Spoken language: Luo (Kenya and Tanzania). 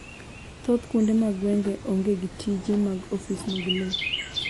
thoth kuonde mag gwenge onge gi tije mag ofis mag lowo